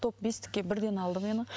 топ бестікке бірден алды мені